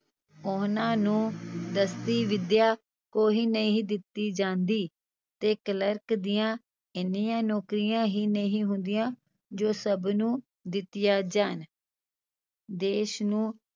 ਉਹਨਾਂ ਨੂੰ ਦੱਸੀ ਵਿੱਦਿਆ ਕੋਈ ਨਹੀਂ ਦਿੱਤੀ ਜਾਂਦੀ ਤੇ ਕਲਰਕ ਦੀਆਂ ਇੰਨੀਆਂ ਨੌਕਰੀਆਂ ਹੀ ਨਹੀਂ ਹੁੰਦੀਆਂ ਜੋ ਸਭ ਨੂੰ ਦਿੱਤੀਆਂ ਜਾਣ ਦੇਸ ਨੂੰ